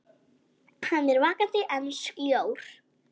Hann er vakandi en sljór.